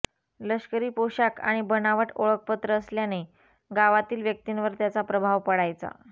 लष्करी पोशाख आणि बनावट ओळखपत्र असल्याने गावातील व्यक्तींवर त्याचा प्रभाव पडायचा